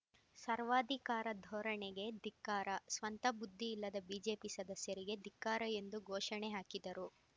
ಸರ್ವಾಧಿಕಾರ ಧೋರಣೆಗೆ ಧಿಕ್ಕಾರ ಸ್ವಂತ ಬುದ್ದಿ ಇಲ್ಲದ ಬಿಜೆಪಿ ಸದಸ್ಯರಿಗೆ ಧಿಕ್ಕಾರ ಎಂದು ಘೋಷಣೆ ಹಾಕಿದರು